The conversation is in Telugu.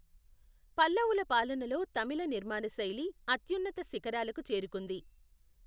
పల్లవుల పాలనలో తమిళ నిర్మాణశైలి అత్యున్నత శిఖరాలకు చేరుకుంది.